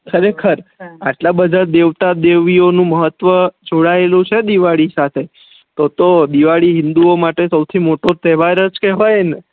ખરેખર એટલા બધા દેવતા દેવીયો નું મહત્વ જોડાયેલુ છે દિવાળી સાથે તો તો દિવાળી હિન્દુઓં માટે સૌથી મોટો તેહવાર જ કેહવાય ને